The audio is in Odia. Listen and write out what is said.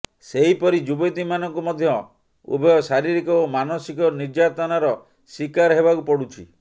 ସେହିପରି ଯୁବତୀମାନଙ୍କୁ ମଧ୍ୟ ଉଭୟ ଶାରୀରିକ ଓ ମାନସିକ ନିର୍ଯାତନାର ଶୀକାର ହେବାକୁ ପଡ଼ୁଛି